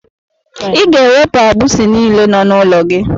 Ị ga-ewepụ agbisi niile nọ n'ụlọ gị.